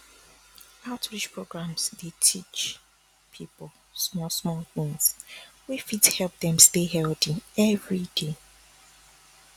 outreach programs dey teach people smallsmall things wey fit help dem stay healthy every day